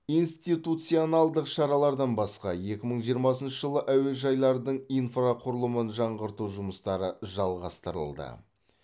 институционалдық шаралардан басқа екі мың жиырмасыншы жылы әуежайлардың инфрақұрылымын жаңғырту жұмыстары жалғастырылды